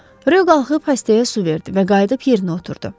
Rö qalxıb xəstəyə su verdi və qayıdıb yerinə oturdu.